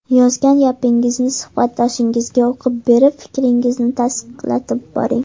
Yozgan gapingizni suhbatdoshingizga o‘qib berib, fikringizni tasdiqlatib boring.